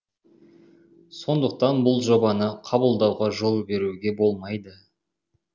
сондықтан бұл жобаны қабылдауға жол беруге болмайды